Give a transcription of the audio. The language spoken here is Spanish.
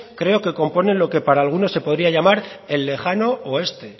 creo que componen lo que para algunos se podría llamar el lejano oeste